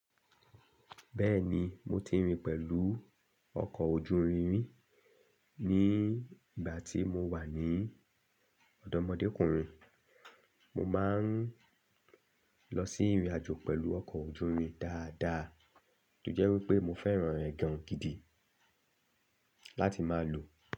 Bẹ́ẹ̀ni mo ti rìn pẹ̀lú ọkọ̀ ojú irin rin ní ìgbà tí mo wà ní ọ̀dọ́mọdékùnrin. Mo máa ń lọ sí ìrìnàjò pẹ̀lú ọkọ̀ ojú irin dáadáa, tó jẹ́ wí pé mo fẹ́ràn rẹ̀ gàn gidi láti máa lò ó.